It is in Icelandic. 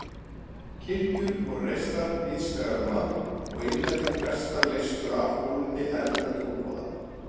Kirkjur voru reistar víðsvegar um land og innlendir prestar leystu af hólmi erlenda trúboða.